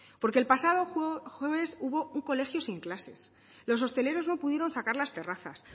porque el pasado jueves hubo un colegio sin clases los hosteleros no pudieron sacar las terrazas